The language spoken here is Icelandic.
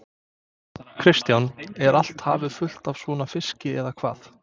Kristján: Er allt hafið fullt af svona fiski eða hvað?